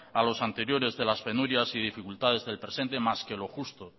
a los anteriores de las penurias y dificultades del presente más que lo justo